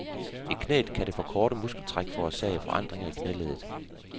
I knæet kan det for korte muskeltræk forårsage forandringer i knæleddet.